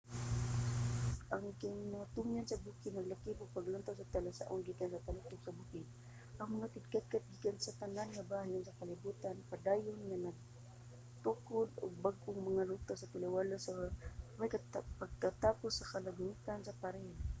ang kinatumyan sa bukid naglakip sa mga panglantaw nga talasaon gikan sa taluktok sa bukid. ang mga tigkatkat gikan sa tanan nga bahin sa kalibutan padayon nga nagtukod og bag-ong mga ruta sa taliwala sa way pagkatapos nga kalagmitang mga paril